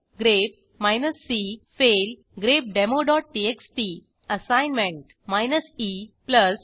grep c fail grepdemoटीएक्सटी assignment E आणि